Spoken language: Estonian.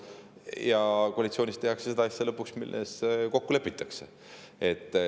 Ja koalitsioonis tehakse seda asja, milles kokku lepitakse.